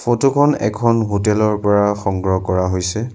Photo খন এখন hotel ৰ পৰা সংগ্ৰহ কৰা হৈছে।